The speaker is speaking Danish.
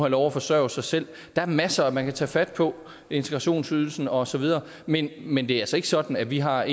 lov at forsørge sig selv der er masser man kan tage fat på integrationsydelsen og så videre men men det er altså ikke sådan at vi har